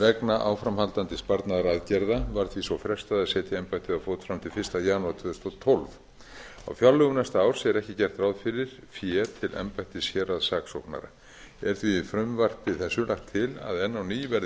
vegna áframhaldandi sparnaðaraðgerða var því svo frestað að setja embættið á fót fram til fyrsta janúar tvö þúsund og tólf á fjárlögum næsta árs er ekki gert ráð fyrir fé til embættis héraðssaksóknara er því í frumvarpi þessu lagt til að enn á ný verði